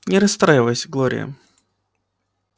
не расстраивайся глория